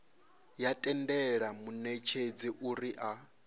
ya tendela munetshedzi uri a